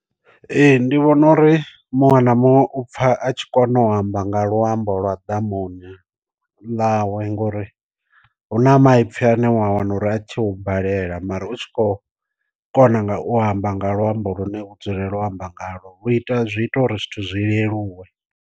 Ee ndi vhona uri muṅwe na muṅwe u pfa a tshi kono u amba nga luambo lwa ḓamuni ḽawe ngori hu na maipfi ane wa wana uri a tshi u balela mara u tshi kho kona nga u amba nga luambo lune u dzulela u amba nga lwo vhu ita zwi ita uri zwithu zwi leluwe.